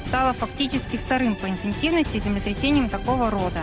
стало фактически вторым по интенсивности землетрясением такого рода